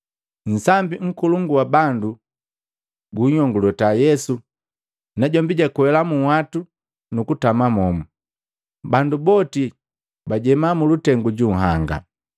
Nsambi nkolongu wa bandu buyongolota Yesu najombi jwakwela munhwatu nukutama momu, bandu boti bajeema mulutengu ju nhanga.